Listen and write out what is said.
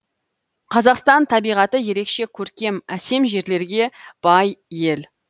қазақстан табиғаты ерекше көркем әсем жерлерге бай ел